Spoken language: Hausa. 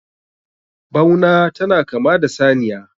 bauna tana kama da saniya